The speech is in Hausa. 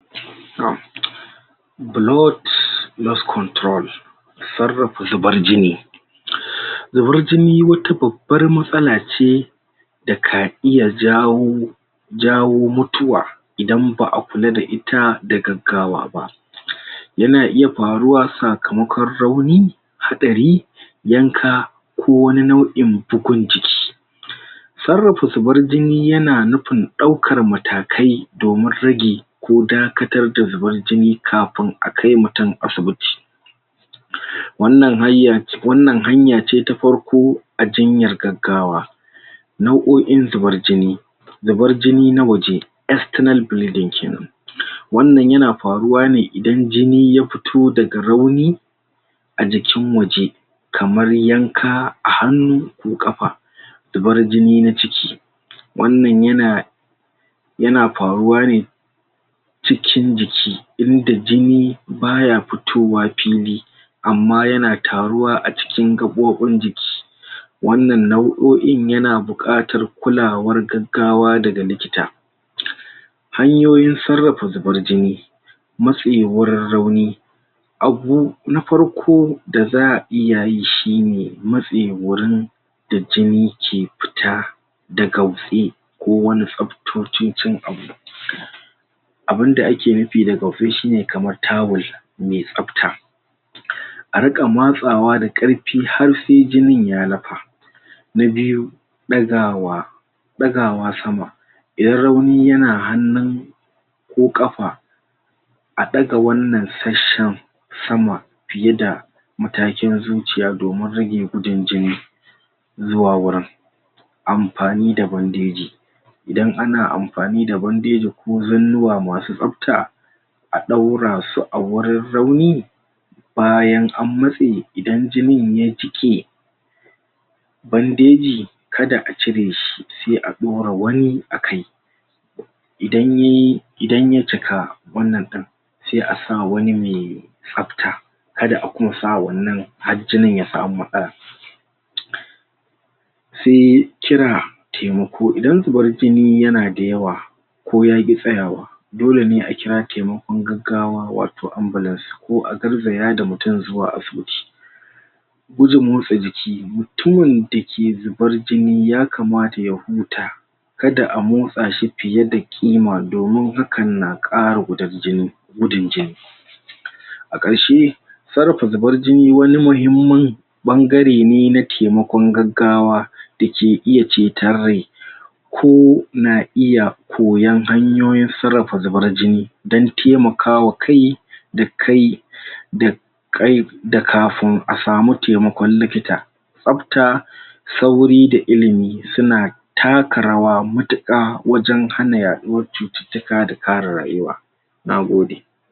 Tsarafa zubar jini zubar jini wata babbar matsala ce da ka iya jawo, jawo mutuwa idan baa kula da ita da gaggawa ba. Ya na iya faruwa sakamakon rauni, haɗari yanka, ko wani nau'yin bukun jiki. Tsarafa zubar jini ya na nufin daukar matakai domin ragi ko dakatar da zubar jini kafun a kai mutum asibiti. Wannan hanya ce ta farko a jinyar gaggawa nau'oyin zubar jini. Zubar jini na waje kenan. Wannan ya na faruwa ne idan jini ya fito da ga rauni a jikin waje kamar yanka a hanu ko kafa. Zubar jini na ciki, wannan ya na yana faruwa ne cikin jiki, inda jini baya fitowa fili amma ya na taruwa a cikin gabbobin jiki. Wannan nau'oyin ya na bukatar kulawar gaggawa da ga likita. Hanyoyin tsarafa zubar jini wurin rauni abu na farko da za'a iya yi shi ne matse wurin da jini ke fita, da ga ko wani sabtocincin abu abunda a ke nufi da ga shi ne kamar tawul mai sabta. A rika matsawa da karfi har se jinin ya lapa na biyu, dagawa dagawa sama, rauni ya na hanu ko kafa a daga wannan tsashen sama fiye da matakin zuciya domin rage gudun jini zuwa wurin amfani da bandaji idan ana amfani da bandeji, ko zanuwa masu sabta a daura su a wurin rauni bayan an matse, idan jinin ya jike bandeji ka da a cire shi, se a daura wani a kai, idan ya yi, idan ya cika wannan din se a sa wani me sabta, ka da a kunsa wannan har jinin ya samu matsala. Se kira taimako, idan zubar jini ya na dayawa ko ya ki tsayawa, dole ne a kira taimakon gaggawa wa toh ambulance ko a garzaya da mutum zuwa asibiti. Gudun motsa jiki. Mutumin da ke zubar jini ya kamata ya huta ka da a motsa shi fiye da ƙima domin hakan na kara gudan jini, gudun jini. A karshe tsarafa zubar jini wani mahimman bangare ne na taimakon gaggawa da ke iya cetar rai ko na iya koyan hanyoyin tsarafa zubar jini. Dan taimakawa kai da kai da kai da kafun a samu taimakon likita sabta, sauri da ilimi su na taka rawa mutuka wajen hana yaɗuwar cututuka da kara rayuwa. Nagode.